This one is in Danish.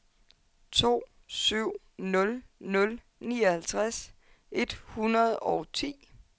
to syv nul nul nioghalvtreds et hundrede og ti